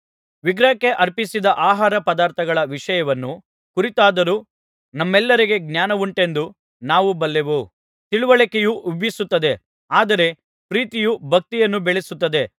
ವಿಗ್ರಹಕ್ಕೆ ಅರ್ಪಿಸಿದ ಆಹಾರಪದಾರ್ಥಗಳ ವಿಷಯವನ್ನು ಕುರಿತಾದರೋ ನಮ್ಮೆಲ್ಲರಿಗೆ ಜ್ಞಾನವುಂಟೆಂದು ನಾವು ಬಲ್ಲೆವು ತಿಳಿವಳಿಕೆಯು ಉಬ್ಬಿಸುತ್ತದೆ ಆದರೆ ಪ್ರೀತಿಯು ಭಕ್ತಿಯನ್ನು ಬೆಳೆಸುತ್ತದೆ